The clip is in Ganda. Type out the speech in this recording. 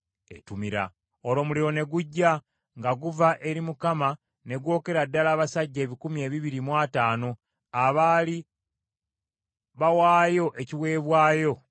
Olwo omuliro ne gujja nga guva eri Mukama ne gwokera ddala abasajja ebikumi ebibiri mu ataano abaali bawaayo ekiweebwayo eky’obubaane.